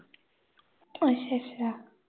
ਅੱਛਾ-ਅੱਛਾ